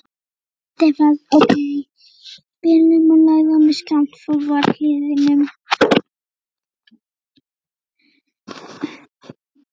Ferðafélagi Stefáns ók bílnum og lagði honum skammt frá varðhliðinu.